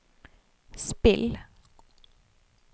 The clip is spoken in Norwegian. spill